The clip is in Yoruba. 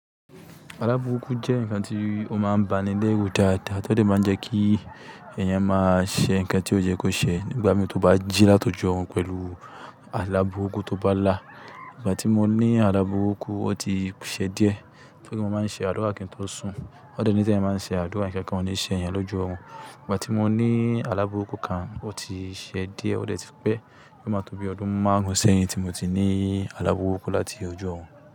Àlá burúkú jẹ́ ǹkan tí ó máa ń báni léru dáadáa, tó dè máa ń jẹ́ kí èèyàn máa ṣe ǹkan tí ó yẹ́ kó ṣe nígbà mií tó bá jí láti ojú orun pẹ̀lú àlá burúkú tí ó bá là. Ìgbà tí mo ní àlá burúkú, ó ti ṣe díẹ̀. Mo máa ń ṣe àdúrà kí n tó sùn. Wọn dè níi ti èèyàn bá ń ṣe àdúrà, ǹkankan ó níí ṣe èèyàn lójú ọ̀run. Ìgbà tí mo ní alábùkún kan, ó ti ṣe díẹ̀. Ó dè tí pé. Ó máa tó bíi ọdún márùn sẹ́yìn tí mo ti ní àlá burúkú láti ojú orun.